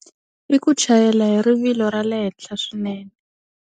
I ku chayela hi rivilo ra le henhla swinene.